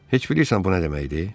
Heç bilirsən bu nə deməkdir?